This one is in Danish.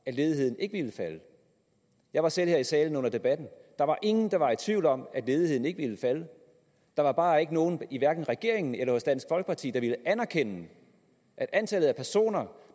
at ledigheden ikke ville falde jeg var selv her i salen under debatten der var ingen der var i tvivl om at ledigheden ikke ville falde der var bare ikke nogen i hverken regeringen eller hos dansk folkeparti der ville anerkende at antallet af personer